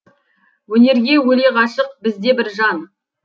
өнерге өле ғашық біз де бір жан